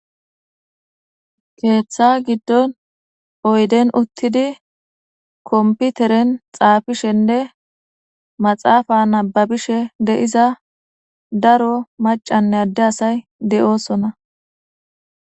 keeththa giddon oyden uttidi kompiteren xaafishenne maxaafa nabbabishe de7iza daro maccanne adde asay de7oosona.